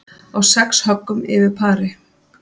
Á sex höggum yfir pari